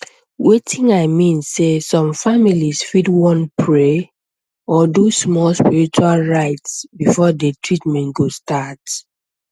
wetin i mean sey some families fit wan pray or do small spiritual rites before the treatment go start